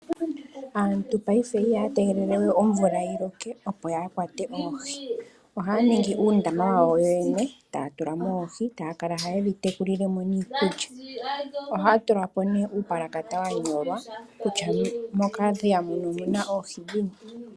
Aantu ngashingeyi ihaya tegelele we omvula yi loke opo ya kwate oohi. Ohaya ningi uundama wawo yene, taya tula mo oohi taya kala haye dhi tekulile mo niikulya. Ohaya tula po uupalakata wa nyolwa kutya mokadhiya muka omu na oohi dhini.